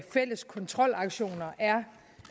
fælles kontrolaktioner er